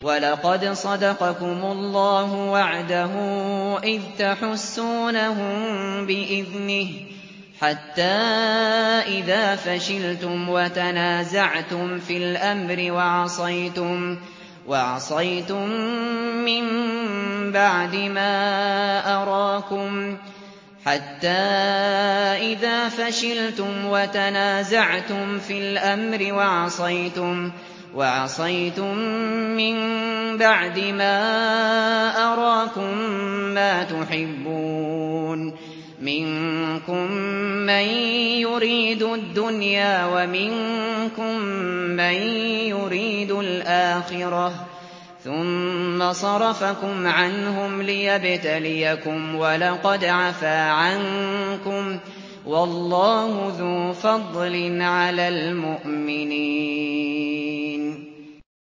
وَلَقَدْ صَدَقَكُمُ اللَّهُ وَعْدَهُ إِذْ تَحُسُّونَهُم بِإِذْنِهِ ۖ حَتَّىٰ إِذَا فَشِلْتُمْ وَتَنَازَعْتُمْ فِي الْأَمْرِ وَعَصَيْتُم مِّن بَعْدِ مَا أَرَاكُم مَّا تُحِبُّونَ ۚ مِنكُم مَّن يُرِيدُ الدُّنْيَا وَمِنكُم مَّن يُرِيدُ الْآخِرَةَ ۚ ثُمَّ صَرَفَكُمْ عَنْهُمْ لِيَبْتَلِيَكُمْ ۖ وَلَقَدْ عَفَا عَنكُمْ ۗ وَاللَّهُ ذُو فَضْلٍ عَلَى الْمُؤْمِنِينَ